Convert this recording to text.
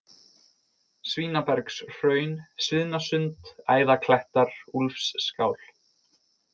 Svínabergshraun, Sviðnasund, Æðaklettar, Úlfsskál